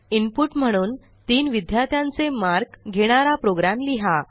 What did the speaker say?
input म्हणून तीन विद्यार्थ्यांचे मार्क घेणारा प्रोग्रॅम लिहा